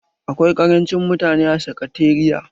Akwai karancin mutane a sakatariya.